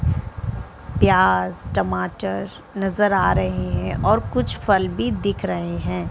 प्याज़ टमाटर नज़र आ रहें हैं और कुछ फल भी दिख रहें हैं।